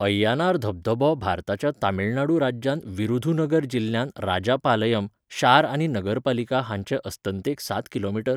अय्यानार धबधबो भारताच्या तमिळनाडू राज्यांतल्या विरुधुनगर जिल्ह्यांत राजापालयम, शार आनी नगरपालिका हांचे अस्तंतेक सात किमी.